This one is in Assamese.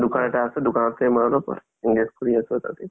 দুকান এটা আছে দুকানতে মই অলপ engage কৰি আছো তাতেই